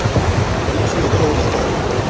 etsuwa ka ho ya ka